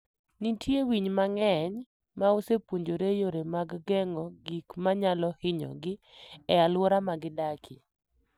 Nitie winy mang'eny ma osepuonjore yore mag geng'o gik ma nyalo hinyogi e alwora ma gidakie.